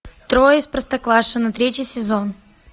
трое из простоквашино третий сезон